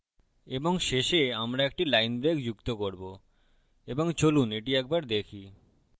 এবং শেষে আমরা একটি line break যুক্ত করবো এবং চলুন এটি একবার দেখি